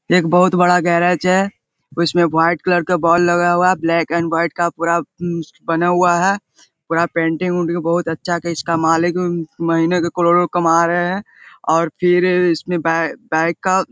एक बहुत बड़ा गैरेज है उसमें वाइट कलर का बोल लगा हुआ है ब्लैक एंड वाइट का पूरा म्मम बना हुआ है पूरा पेंटिंग - उन्टिंग बहुत अच्छा के इसका मालिक भी म्मम महीने के करोड़ो कमा रहे हैं और फिर इसमें बै बाइक का --